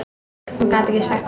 Hún gat ekki sagt það.